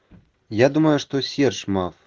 я думаю что серж маф